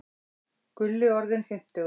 Gulli orðinn fimmtugur.